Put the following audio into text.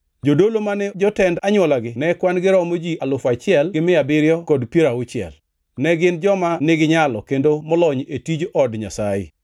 Jodolo mane jotend anywolagi ne kwan-gi romo ji alufu achiel gi mia abiriyo kod piero auchiel (1,760). Ne gin joma niginyalo kendo molony e tij Od Nyasaye.